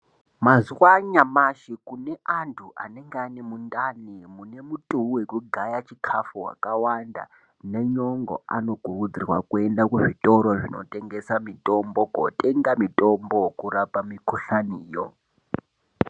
Mazuwa anyamashi kune antu anenga ane mundani mune mutuwi wekugaya chikhafu wakawanda nenyongo, anokurudzirwa kuenda kuzvitoro zvinotengesa mitombo kootenga mitombo wokurapa mikhuhlaniyo.